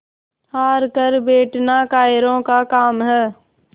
हार कर बैठना कायरों का काम है